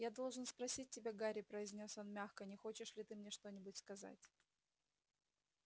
я должен спросить тебя гарри произнёс он мягко не хочешь ли ты мне что-нибудь сказать